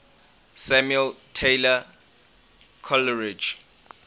samuel taylor coleridge